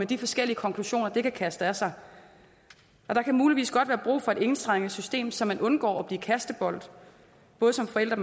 de forskellige konklusioner de kan kaste af sig og der kan muligvis godt være brug for et enstrenget system så man undgår at blive kastebold både som forælder